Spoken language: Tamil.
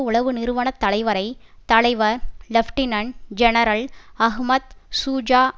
உளவு நிறுவன தலைவரை தலைவர் லெப்டினன்ட் ஜெனரல் அஹ்மத் ஷூஜா